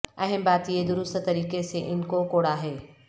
اہم بات یہ درست طریقے سے ان کو کوڑا ہے